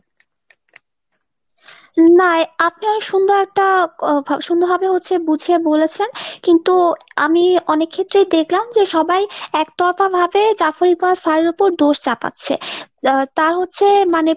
না আপনায় সুন্দর একটা সুন্দরভাবে হচ্ছে বুঝিয়ে বলেছেন। কিন্তু আমি অনেক ক্ষেত্রেই দেখলাম যে সবাই একতরফাভাবে Jafri কার sir র ওপর দোষ চাপাচ্ছে। তাও হচ্ছে মানে